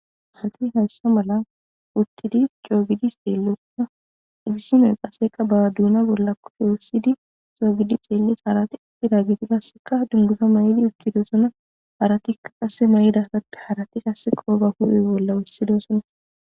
Assati hayissa malani uttidi coo giddi xelossona, issinoyi kasseka ba donna bola kushe wothidi coo gidi xelesi. Harati utidi qassi dunguza mayidi utidosona harati qasi mayidageti qoba huphe bolla wothidosona